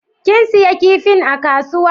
Kin siya kipin a kasuwa?